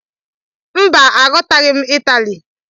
Mba, Aghọtaghị m Ịtali